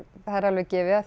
það er alveg gefið að